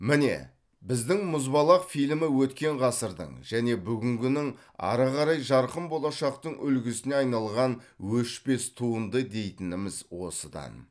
міне біздің мұзбалақ фильмі өткен ғасырдың және бүгінгінің ары қарай жарқын болашақтың үлгісіне айналған өшпес туынды дейтініміз осыдан